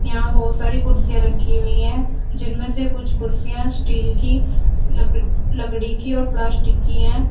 यहां बहुत सारी कुर्सियां रखी हुई है जिनमें से कुछ कुर्सियां स्टील की लकड़ लकड़ी की और प्लास्टिक की है।